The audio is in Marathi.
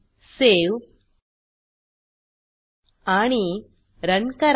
सावे आणि रन करा